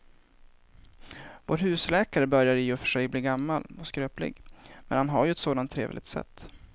Vår husläkare börjar i och för sig bli gammal och skröplig, men han har ju ett sådant trevligt sätt!